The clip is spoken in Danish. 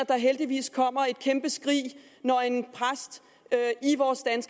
der heldigvis kommer et kæmpe skrig når en præst